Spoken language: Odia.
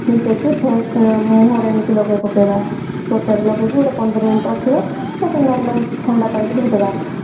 ମିଶେଇକି face ମୁହଁରେ ଏମିତି ଲଗେଇ ପକେଇବା ତ୍ଵଚାରେ ଲଗେଇକି ଏମତି ପନ୍ଦର minute ରଖିବା ତ ପରେ normal ଥଣ୍ଡା ପାଣିରେ ଧୋଇଦେବା